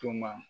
Tuma